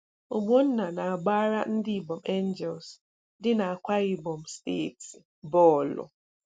Ogbonna na-agbara ndị Ibom Angels dị n'Akwa Ibom steeti bọọlụ.